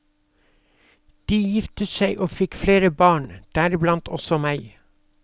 De giftet seg og fikk flere barn, deriblant også meg.